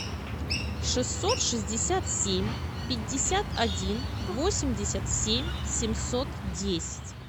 шестьсот шестьдесят семь пятьдесят один восемьдесят семь семьсот десять